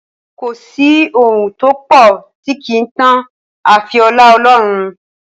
Kò sí ohun tó pọ̀ tí kì í tán àfi ọlá Ọlọ́run.